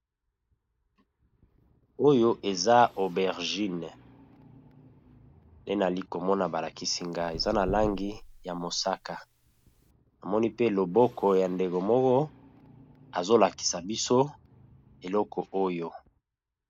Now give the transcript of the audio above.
Oyo eza aubergine pe nali komona ba lakisi nga eza na langi ya mosaka, namoni pe loboko ya ndeko moko azo lakisa biso eloko oyo.